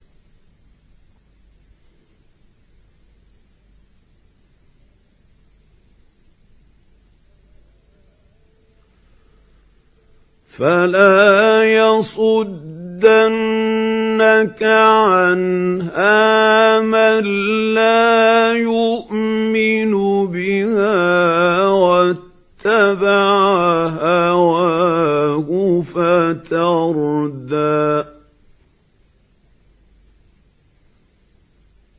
فَلَا يَصُدَّنَّكَ عَنْهَا مَن لَّا يُؤْمِنُ بِهَا وَاتَّبَعَ هَوَاهُ فَتَرْدَىٰ